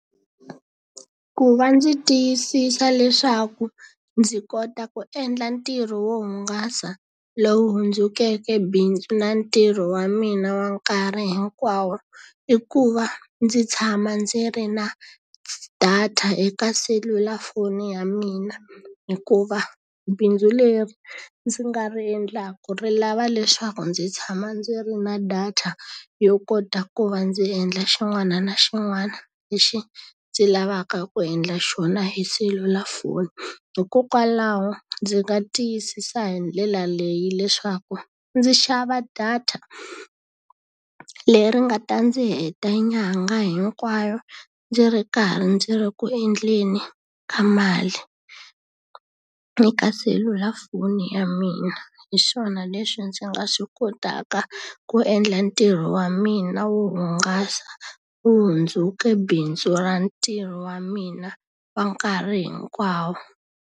Ku va ndzi tiyisisa leswaku ndzi kota ku endla ntirho wo hungasa lowu hundzukeke bindzu na ntirho wa mina wa nkarhi hinkwawo, i ku va ndzi tshama ndzi ri na data eka selulafoni ya mina. Hikuva bindzu leri ndzi nga ri endlaka ri lava leswaku ndzi tshama ndzi ri na data yo kota ku va ndzi endla xin'wana na xin'wana lexi ndzi lavaka ku endla xona hi selulafoni. Hikokwalaho ndzi nga tiyisisa hi ndlela leyi leswaku ndzi xava data leri nga ta ndzi heta nyangha hinkwayo, ndzi ri karhi ndzi ri ku endleni ka mali eka selulafoni ya mina. Hi swona leswi ndzi nga swi kotaka ku endla ntirho wa mina wo hungasa lowu hundzukeke bindzu ra ntirho wa mina wa nkarhi hinkwawo.